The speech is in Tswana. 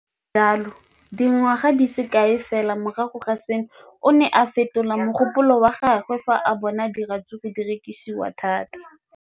Le fa go le jalo, dingwaga di se kae fela morago ga seno, o ne a fetola mogopolo wa gagwe fa a bona gore diratsuru di rekisiwa thata.